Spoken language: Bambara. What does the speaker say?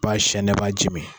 Ba sɛnɛ, ba ji mi.